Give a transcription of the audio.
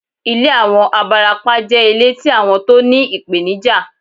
Ilé àwọn abarapá jẹ́ ilé tí àwọn tó ní ìpènijà